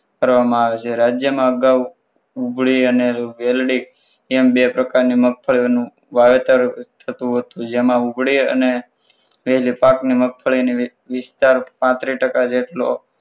કરવામાં આવે છે રાજ્યમાં અગાઉ ડુંગળી અને વેલ્ડી એમ બે પ્રકારની મગફળીઓનું વાવેતર થતું હતું જેમાં મગફળી અને વેજ પાકની મફળી નો વિસ્તાર પાંત્રીસ જેટલો